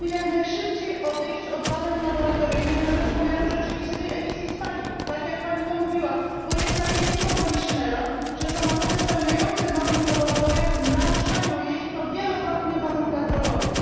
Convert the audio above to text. Musimy jak najszybciej odejść od badań laboratoryjnych na rzecz pomiaru rzeczywistej emisji spalin, tak jak Pani to mówiła, bo jest tajemnicą poliszynela, że samochody spełniające normy w laboratoriach, naruszają je i to wielokrotnie w warunkach drogowych.